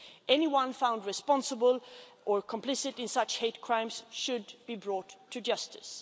Anyone found responsible or complicit in such hate crimes should be brought to justice.